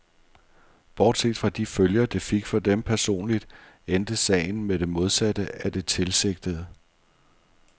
Bortset fra de følger, det fik for dem personligt, endte sagen med det modsatte af det tilsigtede.